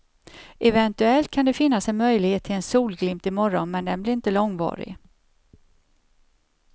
Eventuellt kan det finnas en möjlighet till en solglimt i morgon men den blir inte långvarig.